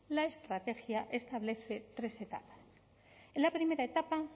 vacunas la estrategia establece tres en la primera etapa